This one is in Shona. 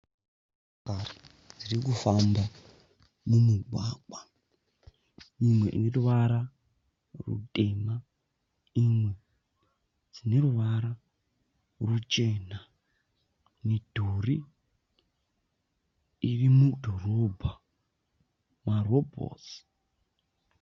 Motokari dziri kufamba mumugwagwa imwe ine ruvara rutema imwe ine ruvara ruchena. Midhuri iri mudhorobha. Marobhotsi.